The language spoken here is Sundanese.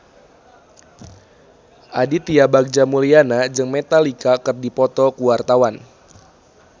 Aditya Bagja Mulyana jeung Metallica keur dipoto ku wartawan